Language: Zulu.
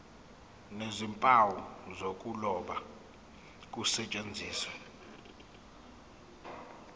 nezimpawu zokuloba kusetshenziswe